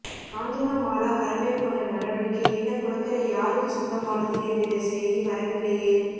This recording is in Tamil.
காஞ்சனமாலா கரமேற்கொண்ட நடவடிக்கை என்ன குளக்கரை யாருக்கு சொந்தமானது என்றிடட செய்தி வரவில்லையே